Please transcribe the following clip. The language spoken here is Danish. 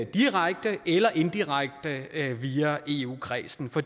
direkte eller indirekte via eu kredsen for